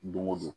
Don o don